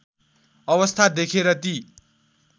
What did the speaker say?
अवस्था देखेर ती